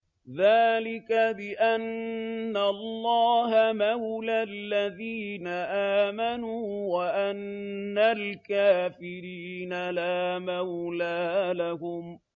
ذَٰلِكَ بِأَنَّ اللَّهَ مَوْلَى الَّذِينَ آمَنُوا وَأَنَّ الْكَافِرِينَ لَا مَوْلَىٰ لَهُمْ